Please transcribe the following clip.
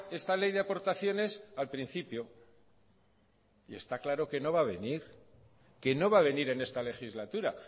esta ley de aportaciones al principio y está claro que no va venir que no va a venir en esta legislatura